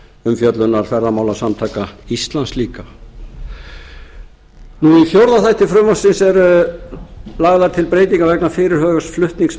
umfjöllunar ferðamálasamtaka íslands líka í fjórða þætti frumvarpsins eru lagðar til breytingar vegna fyrirhugaðs flutnings